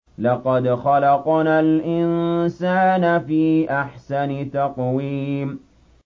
لَقَدْ خَلَقْنَا الْإِنسَانَ فِي أَحْسَنِ تَقْوِيمٍ